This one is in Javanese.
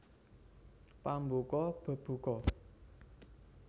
Pambuka bebuka